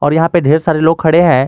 और यहां पे ढेर सारे लोग खड़े हैं।